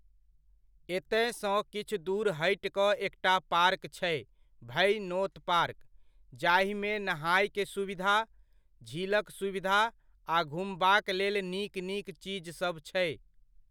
एतय सँ किछु दूर हटि कऽ एकटा पार्क छै भै नोत पार्क, जाहिमे नहायके सुविधा, झीलक सुविधा आ घुमबाक लेल नीक नीक चीजसभ छै।